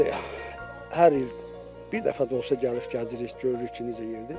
Elə biz də hər il bir dəfə də olsa gəlib gəzirik, görürük ki, necə yerdir.